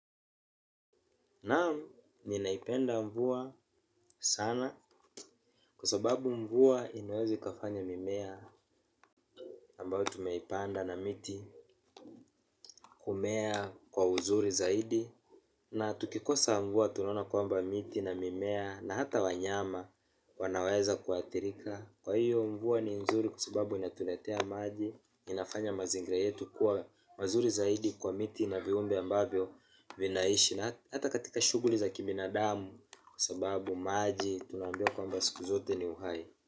Naam ninaipenda mvua sana kwasababu mvua inaweza ikafanya mimea ambayo tumeipanda na miti kumea kwa uzuri zaidi. Na tukikosa mvua tuna ona kwamba miti na mimea na hata wanyama wanaweza kuathirika. Kwa hiyo mvua ni nzuri kusababu inatuletea maji inafanya mazingira yetu kuwa mazuri zaidi kwa miti na viumbe ambayo vinaishi. Na hata katika shuguli za kibinadamu kwasababu maji tunambiwa kwamba siku zote ni uhai.